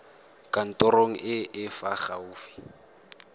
kantorong e e fa gaufi